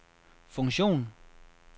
funktion